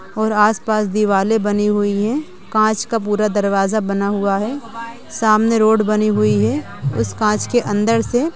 और आस-पास दीवाले बनी हुई हैं। कांच का पूरा दरवाजा बना हुआ हैं। सामने रोड बनी हुई हैं। उस कांच के अंदर से --